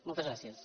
moltes gràcies